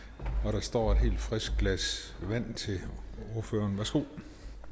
der står et helt frisk glas vand til ordføreren værsgo